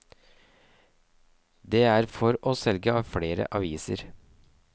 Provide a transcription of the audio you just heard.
Det er for å selge flere aviser.